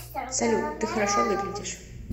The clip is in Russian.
салют ты хорошо выглядишь